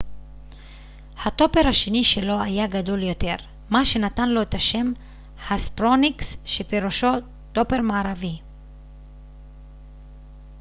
הטופר השני שלו היה גדול יותר מה שנתן לו את השם הספרוניקס שפירושו טופר מערבי